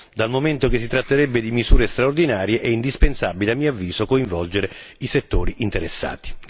Dal momento che si tratterebbe di misure straordinarie è indispensabile, a mio avviso, coinvolgere i settori interessati.